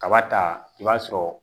Kaba ta i b'a sɔrɔ